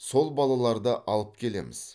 сол балаларды алып келеміз